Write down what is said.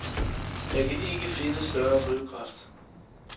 Jeg kan ikke finde større drivkraft.